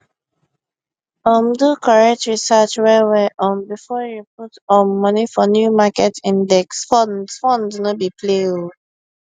um do correct research well well um before you put um money for new market index funds funds no be play oh